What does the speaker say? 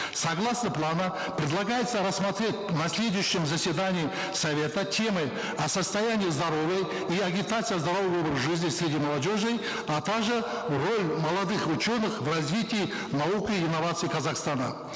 согласно плана предлагается рассмотреть на следующем заседании совета темы о состоянии здоровья и агитация здорового образа жизни среди молодежи а также роль молодых ученых в развитии науки и инноваций казахстана